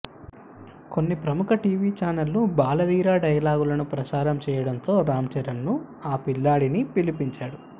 కొన్ని ప్రముఖ టీవీ చానళ్ళు బాలధీర డైలాగులను ప్రసారం చేయడంతో రామ్ చరణ్ ను ఆ పిల్లాడిని పిలిపించాడు